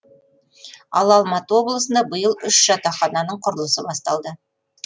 ал алматы облысында биыл үш жатақхананың құрылысы басталды